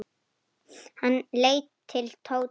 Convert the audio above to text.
Hann leit til Tóta.